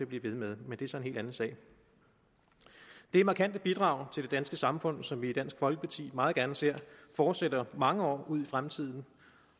blive ved med men det er så en helt anden sag det er markante bidrag til det danske samfund som vi i dansk folkeparti meget gerne ser fortsætter mange år ud i fremtiden